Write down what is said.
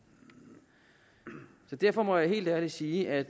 derfor må jeg helt ærligt sige at